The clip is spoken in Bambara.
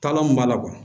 Taalan mun b'a la